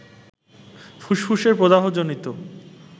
ফুসফুসের প্রদাহজনিত